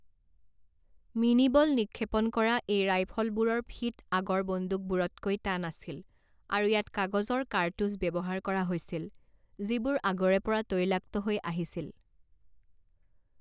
Mini ball নিক্ষেপণ কৰা এই ৰাইফলবোৰৰ ফিট আগৰ বন্দুকবোৰতকৈ টান আছিল, আৰু ইয়াত কাগজৰ কাৰ্টুজ ব্যৱহাৰ কৰা হৈছিল যিবোৰ আগৰে পৰা তৈলাক্ত হৈ আহিছিল।